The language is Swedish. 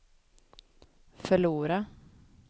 förlora